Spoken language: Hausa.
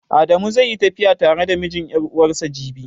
Adamu zai yi tafiya tare da mijin ƴar'uwarsa jibi.